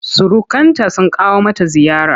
Surukanta sun kawo mata ziyara.